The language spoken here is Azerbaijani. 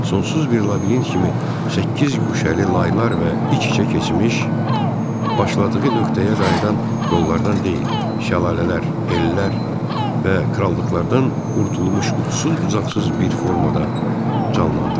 Sonsuz bir labirint kimi səkkiz guşəli laylar və iç-içə keçmiş, başladığı nöqtəyə qayıdan yollardan deyil, şəlalələr, ellər və krallıqlardan qurtulmuş utsuz-bucaqsız bir formada canlandırdım.